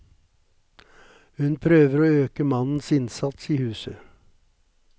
Hun prøver å øke mannens innsats i huset.